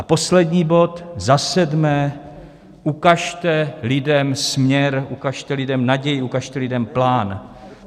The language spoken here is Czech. A poslední bod - za sedmé, ukažte lidem směr, ukažte lidem naději, ukažte lidem plán.